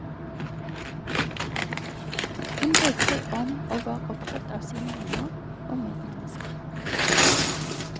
Hun brydde seg om og var opptatt av sine venner og medmennesker.